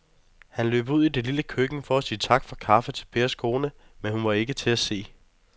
Han løb ud i det lille køkken for at sige tak for kaffe til Pers kone, men hun var ikke til at se.